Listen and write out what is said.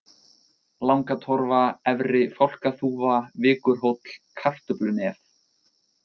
Langatorfa, Efri-Fálkaþúfa, Vikurhóll, Kartöflunef